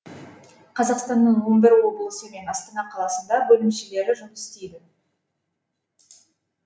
қазақстанның он бір облысы мен астана қаласында бөлімшелері жұмыс істейді